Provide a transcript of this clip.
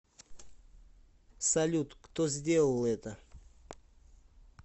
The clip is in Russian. салют кто сделал это